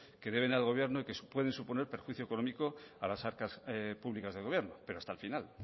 que deben al gobierno y que pueden suponer perjuicio económico a las arcas públicas del gobierno pero hasta el final